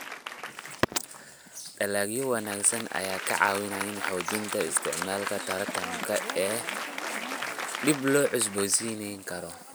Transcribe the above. Dalagyo wanaagsan ayaa ka caawiya xoojinta isticmaalka tamarta dib loo cusboonaysiin karo.